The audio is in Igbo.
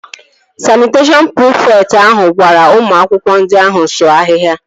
Sanịteshọn prịfekt ahụ gwara ụmụ akwụkwọ ndị ahụ sụọ ahịhịa